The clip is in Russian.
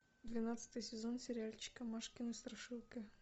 двенадцатый сезон сериальчика машкины страшилки